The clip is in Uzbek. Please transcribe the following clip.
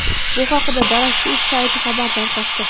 Bu haqda darakchi.uz sayti xabar tarqatdi.